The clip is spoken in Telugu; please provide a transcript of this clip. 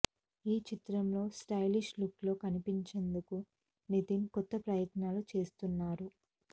ఈ చిత్రం లో స్టైలిష్ లుక్ లో కనిపించేందుకు నితిన్ కొత్త ప్రయత్నాలు చేస్తున్నారు